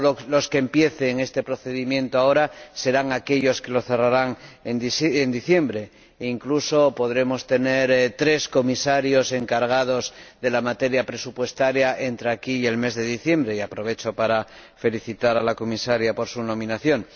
Los que empiecen este procedimiento ahora no serán los que lo cerrarán en diciembre e incluso podremos tener tres comisarios encargados de la materia presupuestaria entre ahora y el mes de diciembre, y aprovecho la oportunidad para felicitar a la Comisaria por su nombramiento.